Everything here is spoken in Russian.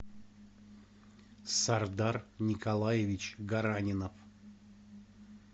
сардар николаевич гаранинов